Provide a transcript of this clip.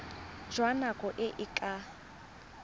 jwa nako e e ka